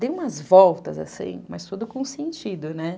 Dei umas voltas, assim, mas tudo com sentido, né?